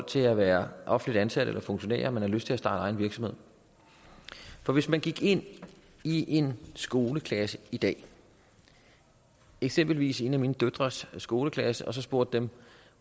til at være offentligt ansatte eller funktionærer men får lyst til at starte egen virksomhed hvis man gik ind i en skoleklasse i dag eksempelvis en af mine døtres skoleklasser og spurgte dem